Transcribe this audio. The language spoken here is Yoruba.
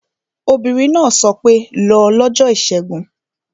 Obìnrin náà sọ pé 'lọ lọ́jọ́ ìṣẹ́gun